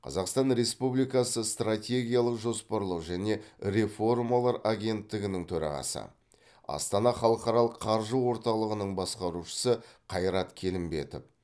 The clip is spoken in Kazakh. қазақстан республикасы стратегиялық жоспарлау және реформалар агенттігінің төрағасы астана халықаралық қаржы орталығының басқарушысы қайрат келімбетов